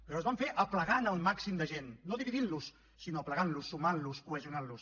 però es van fer aplegant el màxim de gent no dividint los sinó aplegant los sumant los cohesionant los